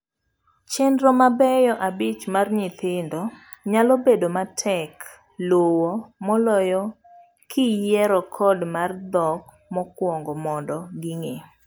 Chenro mabeyo abich mar nyithindo nyalo bedo matek luwo moloyo kiyiero code mar dhok mokuongo mondo ging'e.